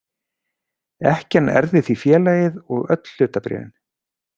Ekkjan erfði því félagið og öll hlutabréfin.